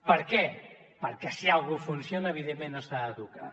per què perquè si una cosa funciona evidentment no s’ha de tocar